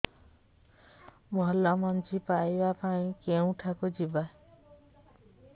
ଭଲ ମଞ୍ଜି ପାଇବା ପାଇଁ କେଉଁଠାକୁ ଯିବା